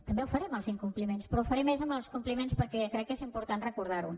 també ho faré en els incompliments però ho faré més en els compliments perquè crec que és important recordar ho